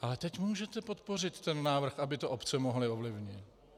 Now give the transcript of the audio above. Ale teď můžete podpořit ten návrh, aby to obce mohly ovlivnit.